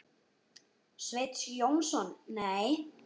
Sveinn Jónsson Nei.